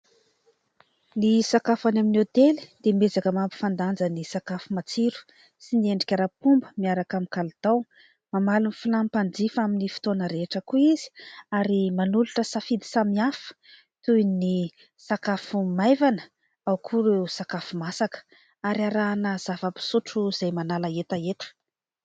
Ny sakafo any amin'ny hôtely dia miezaka mampifandanja ny sakafo matsiro sy ny endrika ara-pomba, miaraka amin'ny kalitao. Mamaly ny filàn'ny mpanjifa amin'ny fotoana rehetra koa izy ary manolotra safidy samihafa, toy ny : sakafo maivana, ao koa ireo sakafo masaka ary arahana zava-pisotro izay manala hetaheta.